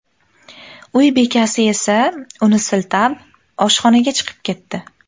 Uy bekasi esa uni siltab, oshxonaga chiqib ketdi.